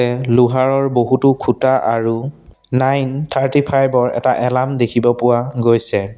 এহ লোহাৰৰ বহুতো খুঁটা আৰু নাইন থাৰ্টি ফাইভ ৰ এটা এলাৰ্ম দেখিব পোৱা গৈছে।